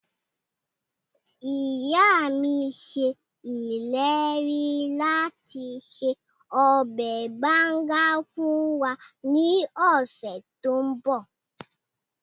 Ìya mi se ileri lati se ọbẹ banga fun wa ni ọsẹ to nbọ